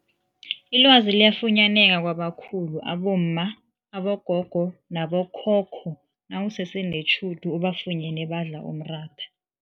Ilwazi liyafunyaneka kwabakhulu abomma, abogogo nabo khokho nawusese netjhudu ubafunyene badla umratha.